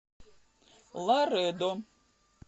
ларедо